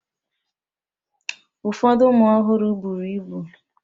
Ụfọdụ ụmụ ọhụrụ bụrụ ịbụ.